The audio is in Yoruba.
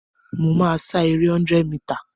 Mo máa sá ere 100 mità